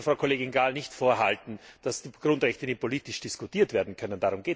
Man sollte Frau Kollegin Gál nicht vorhalten, dass die Grundrechte nicht politisch diskutiert werden können.